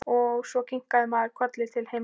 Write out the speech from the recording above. Og svo kinkar maður kolli til himins.